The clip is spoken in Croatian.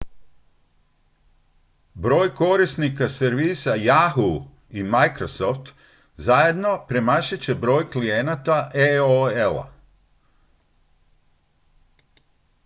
broj korisnika servisa yahoo i microsoft zajedno premašit će broj klijenata aol-a